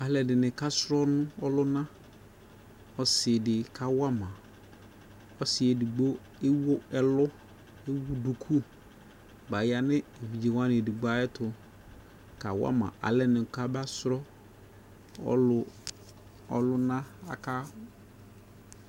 Aaluɛdini ka, srɔlɔ ɔlunaƆsidi kawamaƆsiiɛ, edigbo ewuɛlu ewuduku, baya nu evidziewani edgbo, ayetʋ, kawama alenɛ, kabasrɔ, ɔlu ɔluna, aka